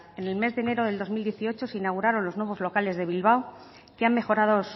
en el mes de enero de dos mil dieciocho se inauguraron los nuevos locales de bilbao que han mejorado